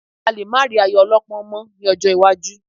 A lè má rí ayò ọlọ́pọ́n mọ́ ní ọjọ́ iwájú